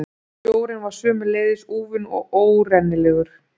Sjórinn var sömuleiðis úfinn og óárennilegur.